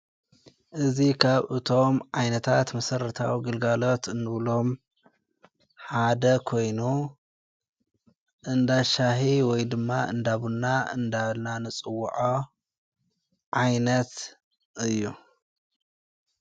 እዙ ኻብ እቶም ዓይነታት ምሠረታዊ ግልጋሎት እንብሎም ሓደ ኮይኑ እንዳሻሕ ወይ ድማ እንዳብና እንዳልና ንጽዉዖ ዓይነት እዩ።